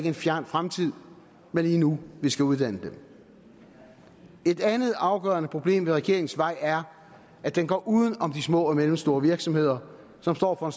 en fjern fremtid men lige nu vi skal uddanne dem et andet afgørende problem ved regeringens vej er at den går uden om de små og mellemstore virksomheder som står for